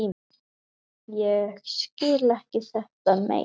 Ég skil ekki þetta mein.